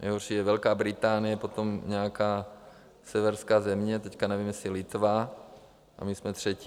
Nejhorší je Velká Británie, potom nějaká severská země, teď nevím, jestli Litva, a my jsme třetí.